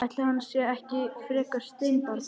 Ætli hann sé ekki frekar steinbarn.